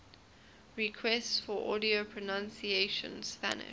requests for audio pronunciation spanish